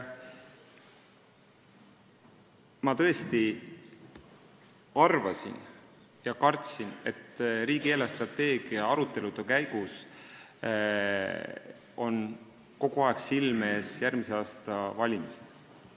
Ma tõesti arvasin ja kartsin, et riigi eelarvestrateegia arutelude käigus on kogu aeg silme ees järgmise aasta valimised.